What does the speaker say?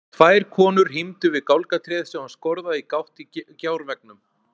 Tvær konur hímdu við gálgatréð sem var skorðað í gátt í gjárveggnum.